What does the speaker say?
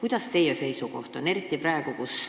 Milline teie seisukoht on?